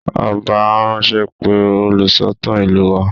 Ọba á ránṣẹ́ pe olùsọ̀tàn ìlú wa